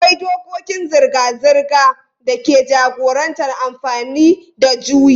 Akwai dokokin zirga-zirga da ke jagorantar amfani da juyi.